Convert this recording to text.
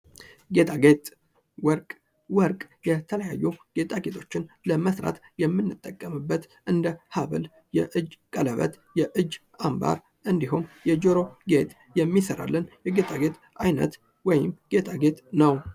ጌጣጌጥ ወርቅ ወርቅ የተለያዩ ጌጣጌጦችን ለመሥራት የምንጠቀምበት እንደ ሀብል፣ የእጅ ቀለበት፣ የእጅ አምባር፣ እንዲሁም የጆሮ ጌጥ የሚሰራለት ጌጣጌጥ ዓይነት ወይም ጌጣጌጥ ነው።